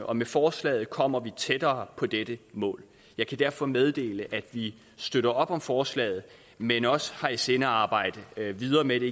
og med forslaget kommer vi tættere på dette mål jeg kan derfor meddele at vi støtter op om forslaget men også har i sinde at arbejde videre med det